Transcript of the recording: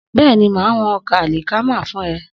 Bẹ́ẹ̀ni, màá wọn ọkà àlìkámà fún ẹ.